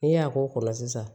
N'i y'a k'o la sisan